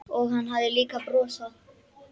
Og hann hafði líka brosað.